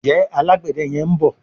Njé Alágbède yén bó?